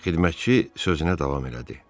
Xidmətçi sözünə davam elədi: